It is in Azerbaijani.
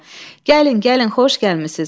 Gəlin, gəlin, xoş gəlmisiz.